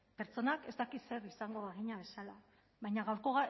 pertsonak ez dakit zer izango bagina bezala baina gaurko